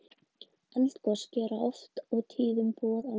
Eldgos gera oft og tíðum boð á undan sér.